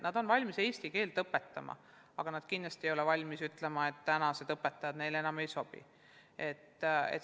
Nad on valmis eesti keelt õpetama, aga nad kindlasti ei ole valmis ütlema, et tänased õpetajad neile enam ei sobi.